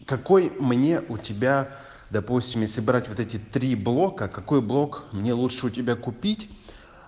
какой мне у тебя допустим если брать вот эти три блока какой блок мне лучше у тебя купить